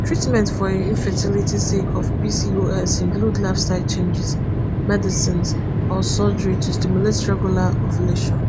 treatments for infertility sake of pcos include lifestyle changes medicines or surgery to stimulate regular ovulation